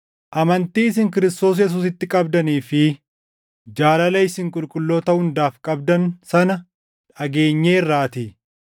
amantii isin Kiristoos Yesuusitti qabdanii fi jaalala isin qulqulloota hundaaf qabdan sana dhageenyeerraatii;